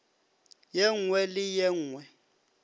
ye nngwe le ye nngwe